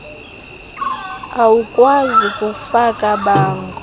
awukwazi kufaka bango